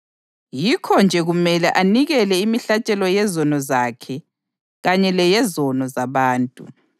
Yikho-nje kumele anikele imihlatshelo yezono zakhe kanye leyezono zabantu.